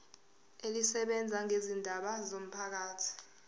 elisebenza ngezindaba zomphakathi